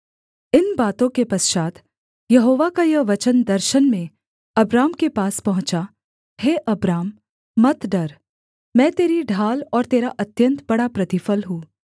इन बातों के पश्चात् यहोवा का यह वचन दर्शन में अब्राम के पास पहुँचा हे अब्राम मत डर मैं तेरी ढाल और तेरा अत्यन्त बड़ा प्रतिफल हूँ